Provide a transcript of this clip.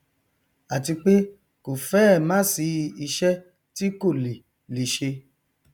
àti pé kò fẹẹ másìí iṣẹ tí kò lè lè ṣe